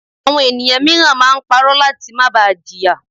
Àwọn ènìyàn míràn máa ń parọ́ láti má ba à jìyà